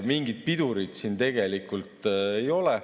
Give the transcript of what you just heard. Mingit pidurit siin ei ole.